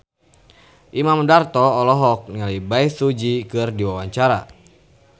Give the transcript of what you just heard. Imam Darto olohok ningali Bae Su Ji keur diwawancara